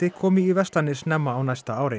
komi í verslanir snemma á næsta ári